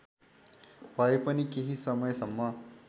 भएपनि केही समयसम्म